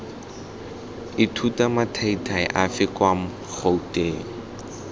ithuta mathaithai afe kwa gouteng